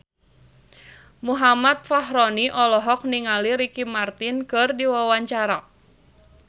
Muhammad Fachroni olohok ningali Ricky Martin keur diwawancara